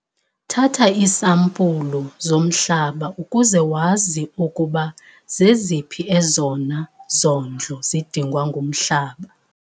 Thatha iisampulu zomhlaba ukuze wazi ukuba zeziphi ezona zondlo zidingwa ngumhlaba.